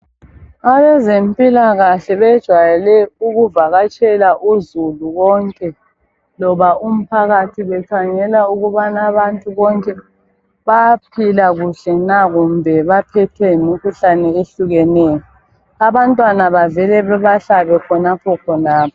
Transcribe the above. Abezempilakahle bejayele ukuvakatshela uzulu wonke loba umphakathi bekhangela ukubana abantu bonke bayaphila kuhle na kumbe baphethwe yimkhuhlane ehlukeneyo. Abantwana bavele bebahlabe khonapho khonapho.